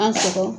An sɔgɔ